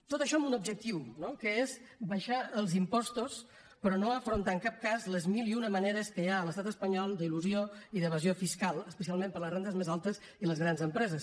tot això amb un objectiu que és abaixar els impostos però no afrontar en cap cas les mil i una maneres que hi ha a l’estat espanyol d’elusió i d’evasió fiscal especialment per a les rendes més altes i les grans empreses